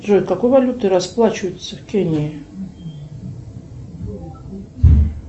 джой какой валютой расплачиваются в кении